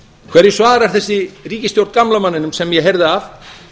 hverju svarar þessi ríkisstjórn gamla manninum sem ég heyrði af